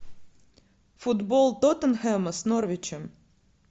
футбол тоттенхэма с норвичем